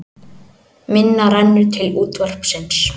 Minna rennur til útvarpsins